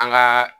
An gaa